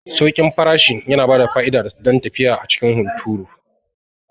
Sauƙin farashin yana bada fa'ida don tafiya a cikin hunturu.